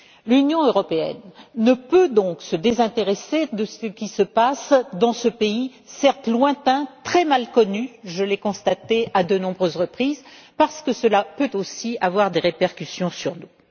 L'Union européenne ne peut donc se désintéresser de ce qui se passe dans ce pays, certes lointain, très mal connu je l'ai constaté à de nombreuses reprises parce que cela peut aussi avoir des répercussions sur nous.